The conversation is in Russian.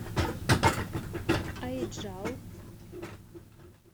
аиджал